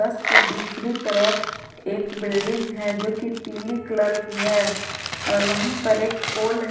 उसके दूसरी तरफ एक बिल्डिंग है जो की पीली कलर की है और वहीं पर एक पोल है।